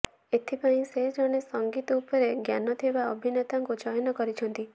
ଏଥିପାଇଁ ସେ ଜଣେ ସଙ୍ଗୀତ ଉପରେ ଜ୍ଞାନ ଥିବା ଅଭିନେତାଙ୍କୁ ଚୟନ କରିଛନ୍ତି